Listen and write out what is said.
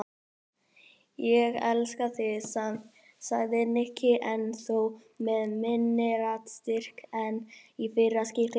Ég elska þig samt sagði Nikki en þó með minni raddstyrk en í fyrra skiptið.